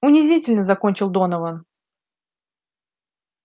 унизительно закончил донован